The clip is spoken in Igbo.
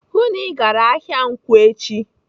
"Hụụ na Ị gara ahịa nkwọ echi!"